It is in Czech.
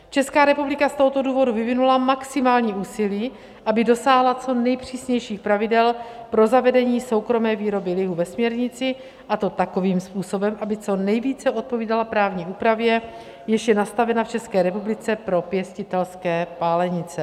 Česká republika z tohoto důvodu vyvinula maximální úsilí, aby dosáhla co nejpřísnějších pravidel pro zavedení soukromé výroby lihu ve směrnici, a to takovým způsobem, aby co nejvíce odpovídala právní úpravě, jež je nastavena v České republice pro pěstitelské pálenice.